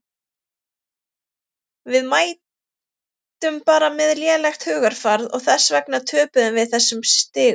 Við mættum bara með lélegt hugarfar og þess vegna töpuðum við þessum stigum.